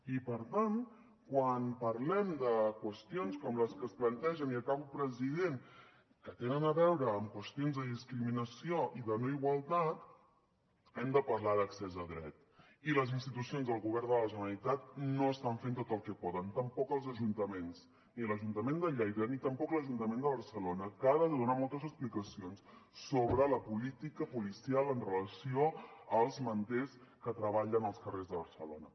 i per tant quan parlem de qüestions com les que es plantegen i acabo president que tenen a veure amb qüestions de discriminació i de no igualtat hem de parlar d’accés a dret i les institucions del govern de la generalitat no estan fent tot el que poden tampoc els ajuntaments ni l’ajuntament de lleida ni tampoc l’ajuntament de barcelona que ha de donar moltes explicacions sobre la política policial amb relació als manters que treballen als carrers de barcelona